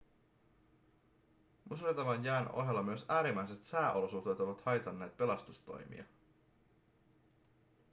musertavan jään ohella myös äärimmäiset sääolosuhteet ovat haitanneet pelastustoimia